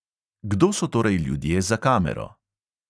Kdo so torej ljudje za kamero?